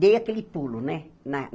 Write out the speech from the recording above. Dei aquele pulo, né? Na